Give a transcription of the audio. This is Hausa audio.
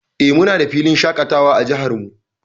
Eh, muna da filin shaƙatawa a jihar mu.